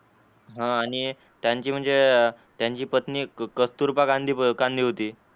हा आणि त्यांची म्हणजे त्यांची पत्नी कस्तुरबा गांधी होती.